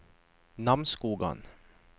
Namsskogan